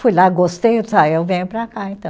Fui lá, gostei, eu disse ah, eu venho para cá, então.